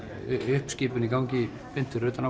uppskipun í gangi beint fyrir utan